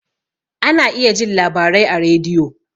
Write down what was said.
Ana iya jin labarai a rediyo